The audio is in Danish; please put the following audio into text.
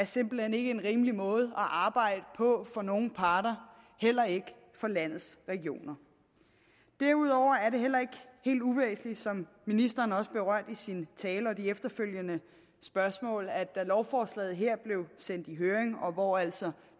simpelt hen ikke en rimelig måde at arbejde på for nogen parter heller ikke for landets regioner derudover er det heller ikke helt uvæsentligt som ministeren også berørte i sin tale og i de efterfølgende spørgsmål at da lovforslaget her blev sendt i høring og hvor altså